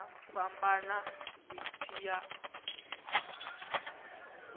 nga fhambana zwi tshi ya